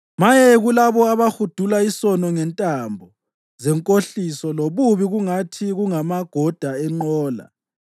Maye kulabo abahudula isono ngentambo zenkohliso lobubi kungathi kungamagoda enqola,